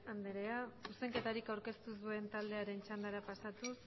anderea zuzenketarik aurkeztu ez duen taldearen txandara pasatuz